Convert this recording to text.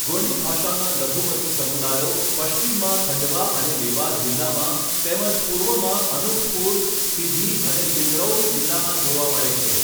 ગોંડી ભાષાના લઘુમતીઓ સમુદાયો પશ્ચિમમાં ખંડવા અને દેવાસ જિલ્લામાં તેમજ પૂર્વમાં અનૂપપુર, સિધી અને સિંગરૌલી જિલ્લામાં જોવા મળે છે.